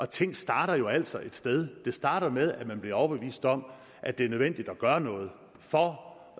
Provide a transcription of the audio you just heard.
ting starter jo altså et sted det starter med at man bliver overbevist om at det er nødvendigt at gøre noget for